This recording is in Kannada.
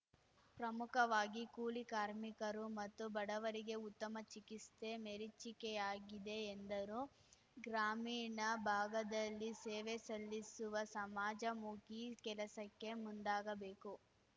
ಪ್ರಮುಖವಾಗಿ ಕೂಲಿ ಕಾರ್ಮಿಕರು ಮತ್ತು ಬಡವರಿಗೆ ಉತ್ತಮ ಚಿಕಿಸ್ತೆ ಮೆರೀಚಿಕೆಯಾಗಿದೆ ಎಂದರು ಗ್ರಾಮೀಣ ಭಾಗದಲ್ಲಿ ಸೇವೆ ಸಲ್ಲಿಸುವ ಸಮಾಜಮುಖಿ ಕೆಲಸಕ್ಕೆ ಮುಂದಾಗಬೇಕು